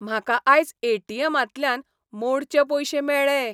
म्हाका आयज ए.टी.एम. तल्यान मोडचे पयशे मेळ्ळे.